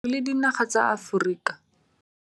Re le dinaga tsa Aforika